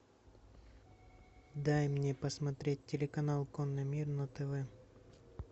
дай мне посмотреть телеканал конный мир на тв